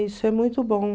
Isso é muito bom.